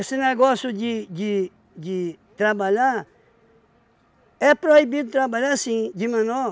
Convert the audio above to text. negócio de de de trabalhar, é proibido trabalhar assim, de menor.